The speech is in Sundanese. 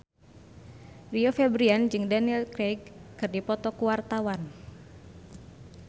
Rio Febrian jeung Daniel Craig keur dipoto ku wartawan